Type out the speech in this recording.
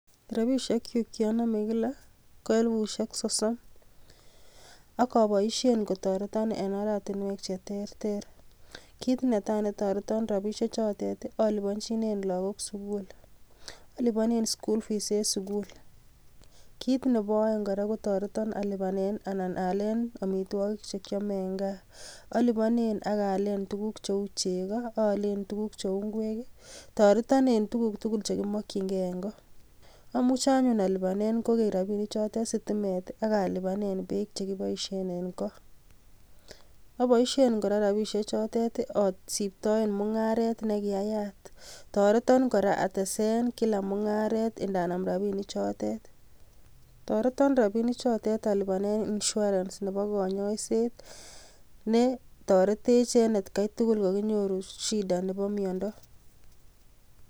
Rabisiek chuk cheonome kila ko elipusiek sosom, akoboishien kotoreton en oratinwek che terter, kit netai netoretoon rabisiechoton aliponyinen logok sugul, alipone anan aalen amitwogiik chekiome en gaa. Oliponen ak aalen tuguk cheu chegoo, Aalen tuguk cheu ingwek. Toreton en tuguk tugul chekimokyingei en goo. Amuche alipanen kokeny rabinik chotet sitimet I,ak alipanen beek che kipoishien en koo, Aboisshien kora rabishechotet asiptoen mungaret nenyunet nekiaayatToreton kora atesen kila mungaret ndanam rabinichitet. Toreton rabinichotet allipanen Insurance Nebo konyoiset neterotech en etkai tugul kokinyoru shidaisiek ab mionwogiik